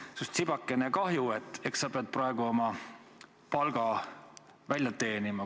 Mul on sinust tibakene kahju, eks sa pead praegu oma palga välja teenima.